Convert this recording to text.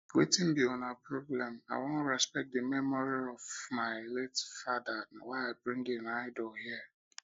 wetin be una problem i wan respect the memory of my memory of my late father na why i bring im idol here